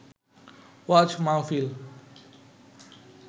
ওয়াজ মাহফিল